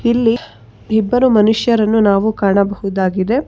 ಇಲ್ಲಿ ಇಬ್ಬರು ಮನುಷ್ಯರನ್ನು ನಾವು ಕಾಣಬಹುದಾಗಿದೆ.